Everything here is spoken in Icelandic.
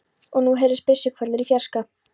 Og nú heyrðust byssuhvellir í fjarska.